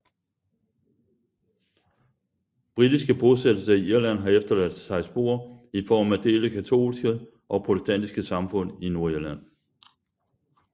Britiske bosættelser i Irland har efterladt sig spor i form af delte katolske og protestantiske samfund i Nordirland